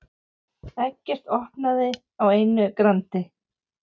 Eggert opnaði á einu grandi.